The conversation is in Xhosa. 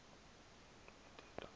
nto ithetha ukuba